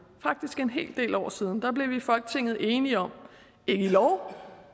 faktisk en hel del år siden blev vi i folketinget enige om ikke i lov